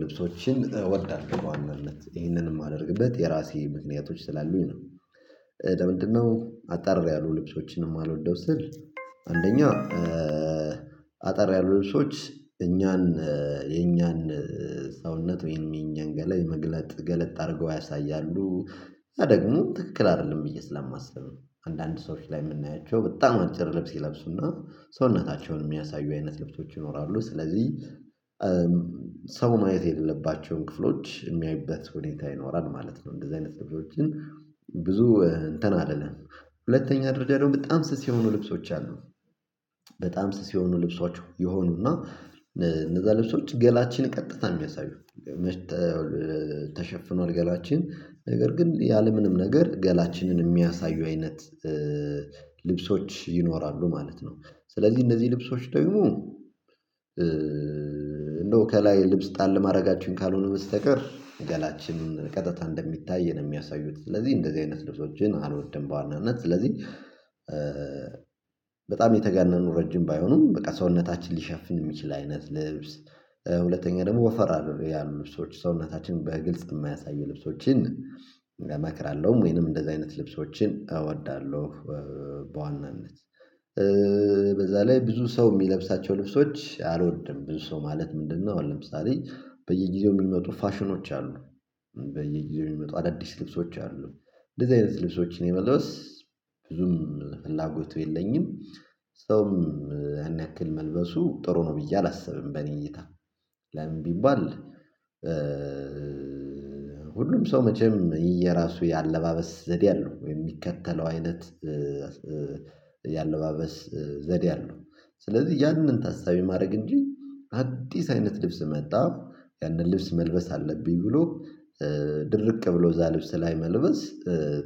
ልብሶችን እወዳለሁ በዋናነት ይህንን ማደርግበት የራሴ ምክንያቶች ስላሉኝ ነው። ለምንድነው አጠር ያሉ ልብሶችን ማልወደው ስል? አንደኛ አጠር ያሉ ልብሶች እኛን የኛን ሰውነት ወይም የኛን ገለጥ መግለጥ ገለጥ አድርገው ያሳያሉ እና ደግሞ ትክክል አይደለም ብዬ ስለማስብ ነው። አንዳንድ ሰዎች ላይ የምናያቸው በጣም አጭር ልብስ ይለብሱና ሰውነታቸውን የሚያሳዩ አይነት ልብሶች ይኖራሉ ስለዚህ ሰው ማየት የሌለባቸውን ክፍሎች የሚያይበት ሁኔታ ይኖራል ማለት ነው። እንደዚህ አይነት ክፍሎች ብዙ እንትን አይደለም። ሁለተኛ ደረጃ ደግሞ በጣም ስስ የሆኑ ልብሶች አሉ። በጣም ስስ የሆኑ ልብሶች የሆኑና እነዛ ልብሶች ገላችንን ቀጥታ የሚያሳዩ መሽተው ተሸፍኗል ገላችን ነገር ግን ያለምንም ነገር ገላችንን የሚያሳዩ አይነት ይኖራሉ ማለት ነው። ስለዚህ እነዚህ ልብሶች ደግሞ እንደው ከላይ ልብስ ጣል ማድረጋችን ካልሆነ በስተቀር ገላችንን ቀጥታ እንደሚታይ ነው የሚያሳዩት ስለዚህ እንደዚህ አይነት ልብሶችን አልወድም። በዋናነት ስለዚህ በጣም የተጋነኑ ረጅም ባይሆኑም በቃ ሰውነታችን ሊሸፍን የሚችል አይነት ልብስ። ሁለተኛ ደግሞ ወፈር ያሉ ልብሶች ሰውነታችን በግልጽ የማያሳዩ ልብሶችን እመክራለሁም ወይንም ደግሞ እንደዚህ አይነት ልብሶችን እወዳለሁ። በዋናነት በዛ ላይ ብዙ ሰው የሚለብሳቸው ልብሶች አልወድም ብዙ ሰው ማለት ምንድነው? አሁን ለምሳሌ በየጊዜው የሚመጡ ፋሽኖች አሉ። በየጊዜው የሚመጡ አዳዲስ ልብሶች አሉ። እንደዚህ አይነት ልብሶች እኔ መልበስ ብዙም ፍላጎቱ የለኝም። ሰውም ያን ያክል መልበሱ ጥሩ ነው ብዬ አላስብም። በእኔ እይታ ለምን ቢባል? ሁሉም ሰው መቼም የራሱ የአለባበስ ዘዴ አለው የሚከተለው አይነት ያለባበስ ዘዴ አለው። ስለዚህ ያንን ታሳቢ ማድረግ እንጂ አዲስ አይነት ልብስ መጣ ያንን ልብስ መልበስ አለብኝ ብሎ ድርቅ ብሎ እዛ ልብስ ላይ መልበስ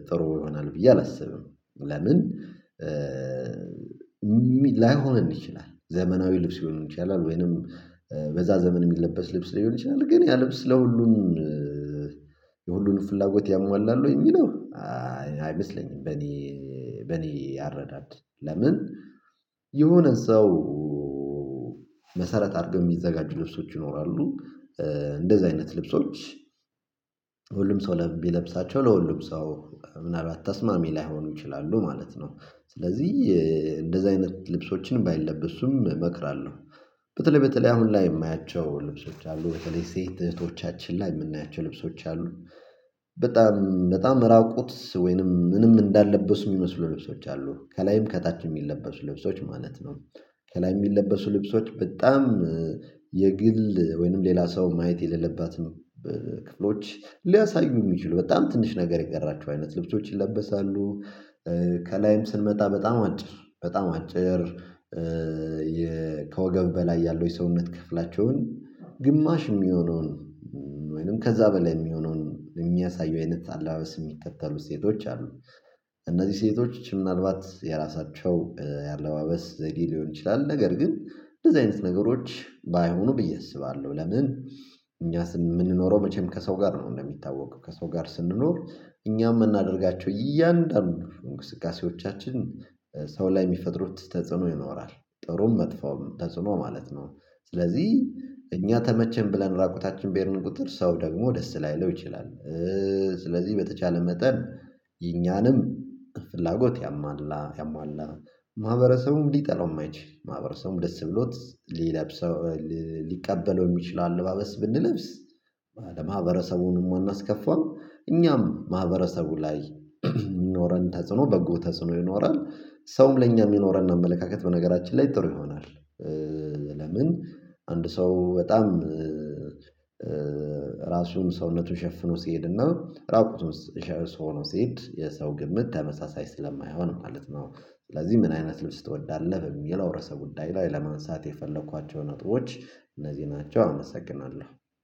ጥሩ ይሆናል ብዬ አላስብም። ለምን? ላይሆንም ይችላል ዘመናዊ ልብስ ሊሆን ይችላል ወይንም በዛ ዘመን የሚለበስ ልብስ ሊሆን ይችላል። ግን ያ ልብስ ለሁሉም የሁሉንም ፍላጎት ያሟላል ወይ የሚለው አይመስለኝም። በኔ በኔ አረዳድ ለምን? የሆነ ሰው መሰረት አድርገን የሚዘጋጁ ልብሶች ይኖራሉ። እንደዚህ አይነት ልብሶች ለሁሉም ሰው ለሚለብሳቸው ለሁሉም ሰው ምናልባት ተስማሚ ላይሆኑ ይችላሉ ማለት ነው። ስለዚህ እንደዚህ አይነት ልብሶችን ባይለብሱም እመክራለሁ። በተለይ በተለይ በጣም ላይ የማያቸው ልብሶች አሉ በተለይ ሴት እህቶቻችን ላይ የምናያቸው ልብሶች አሉ። በጣም በጣም ራቁት ወይንም ምንም እንዳለበሱ የሚመስሉ ልብሶች አሉ ከላይም ከታች የሚለበሱ ልብሶች ማለት ነው። ከላይ የሚለበሱ ልብሶች በጣም የግል ወይንም ሌላ ሰው ማየት የሌለባትን ክፍሎች ሊያሳዩ የሚችሉ በጣም ትንሽ ነገር የቀራችሁ አይነት ልብሶች ይለበሳሉ። ከላይም ስንመጣ በጣም አጭር በጣም አጭር ከወገብ በላይ ያለው የሰውነት ክፍላቸውን ግማሽ የሚሆነውን ወይንም ከዛ በላይ የሚሆነውን የሚያሳዩ አይነት አለባበስን የሚከተሉ ሴቶች አሉ። እነዚህ ሴቶች ምናልባት የራሳቸው የአለባበስ ዘድ ሊሆን ይችላል ነገር ግን እንደዚህ አይነት ነገሮች ባይሆኑ ብዬ አስባለሁ። ለምን እኛ ስን የምንኖረው መቼም ከሰው ጋር ነው። እንደሚታወቀው ከሰው ጋር ስንኖር እኛም የምናደርጋቸው እያንዳንዱ እንቅስቃሴዎቻችን ሰው ላይ የሚፈጥሩት ተጽዕኖ ይኖራል ጥሩም መጥፎም ተጽዕኖ ማለት ነው። ስለዚህ እኛ ተመቸን ብለን ራቁታችን በህድን ቁጥር ሰው ደግሞ ደስ ላይ ልለው ይችላል። ስለዚህ በተቻለ መጠን የኛንም ፍላጎት ያሟላ ያሟላ ማህበረሰቡም ሊጠላው የማይችል ማህበረሰቡም ደስ ብሎት ሊለብሰው ሊቀበለው የሚችለው አለባበስ ብንለብስ። ማህበረሰቡንም አናስከፋም እኛም ማህበረሰቡ ላይ ኖረን ተጽዕኖ በጎ ተጽኖ ይኖራል። ሰውም ለእኛ ይኖረን አመለካከት በነገራችን ላይ ጥሩ ይሆናል። ለምን አንድ ሰው በጣም ራሱን ሰውነቱን ሸፍኖ ሲሄድና ራቁትን ሰው ሆኖ ሲሄድ የሰው ግምት ተመሳሳይ ስለማይሆን ማለት ነው። ስለዚህ ምን አይነት ልብስ ትወዳለህ በሚለው ርዕሰ ጉዳዮች ላይ ለማንሳት የፈለኳቸው ነጥቦች እነዚህ ናቸው። አመሰግናለሁ